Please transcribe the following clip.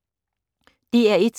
DR1